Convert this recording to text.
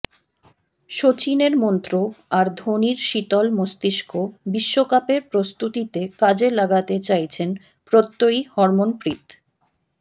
সচিনের মন্ত্র আর ধোনির শীতল মস্তিষ্ক বিশ্বকাপের প্রস্তুতিতে কাজে লাগাতে চাইছেন প্রত্যয়ী হরমনপ্রীত